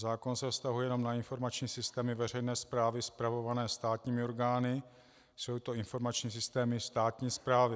Zákon se vztahuje jenom na informační systémy veřejné správy spravované státními orgány, jsou to informační systémy státní správy.